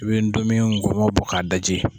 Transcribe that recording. I bɛ ndomi nkɔmɛ bɔ k'a daji.